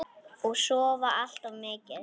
Og sofa allt of mikið.